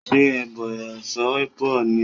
Ṣe ọbẹ̀ Ẹ̀fọ́ bọ̀ ni ọ̀la!